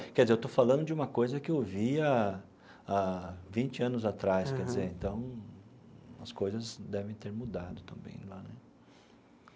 Quer dizer, eu estou falando de uma coisa que eu vi há há vinte anos atrás, quer dizer, então as coisas devem ter mudado também lá né.